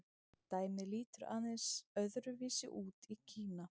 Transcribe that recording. Dæmið lítur aðeins öðru vísi út í Kína.